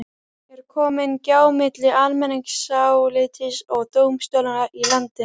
Er komin gjá milli almenningsálitsins og dómstólanna í landinu?